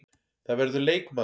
Það verður leikmaður.